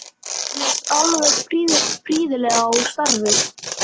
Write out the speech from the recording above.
Mér leist alveg prýðilega á starfið.